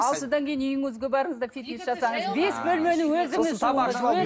ал содан кейін үйіңізге барыңыз да фитнес жасаңыз бес бөлмелі өзіңіз